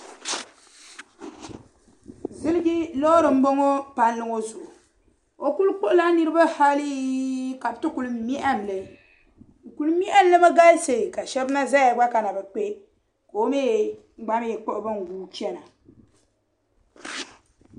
Ziliji loori m-bɔŋɔ palli ŋɔ zuɣu. O kuli kpuɣila niriba hali ka bɛ ti kuli mɛhim li. Bɛ kuli mɛhim li mi galisi ka shɛba na ʒia gba ka na bi kpe ka o mi gba mi kpuɣi ban guui chana.